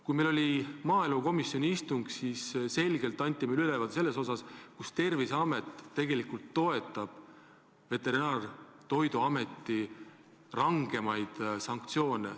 Kui meil oli maaelukomisjoni istung, siis anti meile selge ülevaade sellest, et Terviseamet tegelikult toetab Veterinaar- ja Toiduameti rangemaid sanktsioone.